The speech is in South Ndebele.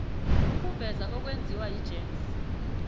ukuveza okwenziwa yigems